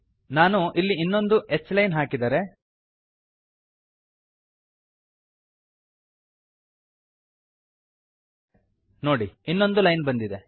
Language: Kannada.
ನಾನು ಇಲ್ಲಿ ಇನ್ನೊಂದು h ಲೈನ್ ಹಾಕಿದರೆ ನೋಡಿ ಇನ್ನೊಂದು ಲೈನ್ ಬಂದಿದೆ